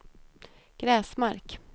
Gräsmark